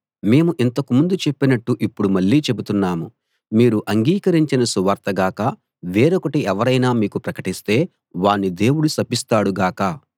మేము ఇంతకు ముందు చెప్పినట్టు ఇప్పుడు మళ్ళీ చెబుతున్నాము మీరు అంగీకరించిన సువార్త గాక వేరొకటి ఎవరైనా మీకు ప్రకటిస్తే వాణ్ణి దేవుడు శపిస్తాడు గాక